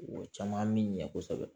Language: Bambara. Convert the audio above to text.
O caman min ɲɛ kosɛbɛ